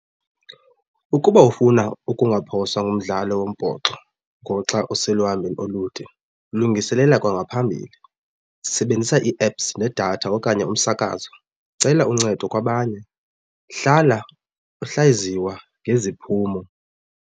Ukuba ufuna ukungaphoswa ngumdlalo wombhoxo ngoxa useluhambeni olude lungiselela kwangaphambili, sebenzisa ii-apps nedatha okanye umsakazo, cela uncedo kwabanye hlala uhlaziywa ngeziphumo.